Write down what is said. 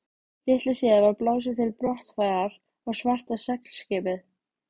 Litlu síðar var blásið til brottfarar og svarta seglskipið